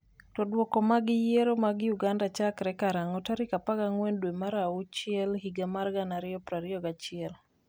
to Duoko mag yiero ma Uganda chakre karang'o tarik 14 dwe mar achiel higa mar 2021?